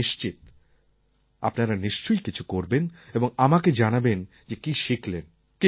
আমি নিশ্চিত আপনারা নিশ্চয়ই কিছু করবেন এবং আমাকে জানাবেন যে কী শিখলেন